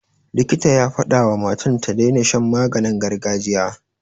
Likita ya fadawa wa matan ta daina shan maganin gargajiya.